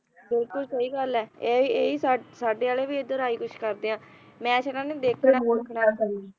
ਬਿਲਕੁਲ ਸਹੀ ਗੱਲ ਆ ਇਹੀ ਇਹੀ ਸਾਡੇ ਆਲੇ ਵੀ ਇਧਰ ਆਹੀ ਕੁਝ ਕਰਦੇ ਆ ਮੈਚ ਇਨ੍ਹਾਂ ਨੇ ਦੇਖਣਾ ਹੀ ਦੇਖਣਾ